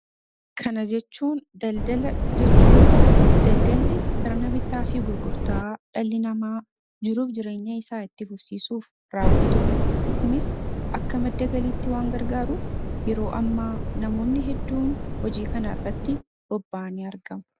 Kana jechuun daldala jechu yoo ta'u daldalli sirna bitaa fi gurgurtaa dhalli namaa jiruuf jireenya isaa itti fufsiisuuf raawwatudha. Kunis akka maddagaliitti waan gargaaruuf yeroo ammaa namoonni hedduun hojii kanaa irratti bobba'anii argamu.